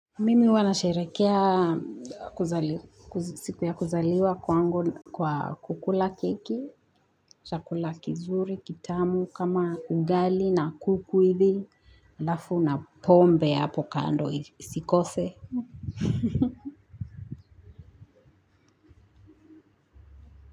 Mimi huwa nasherehekea siku ya kuzaliwa kwangu kwa kukula keki, chakula kizuri, kitamu, kama ugali na kuku hivi, alafu na pombe hapo kando isikose.